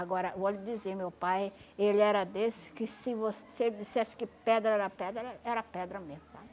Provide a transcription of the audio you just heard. Agora, eu vou lhe dizer, meu pai, ele era desse que se você... se ele dissesse que pedra era pedra, era era pedra mesmo, sabe?